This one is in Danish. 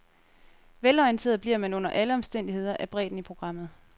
Velorienteret bliver man under alle omstændigheder af bredden i programmet.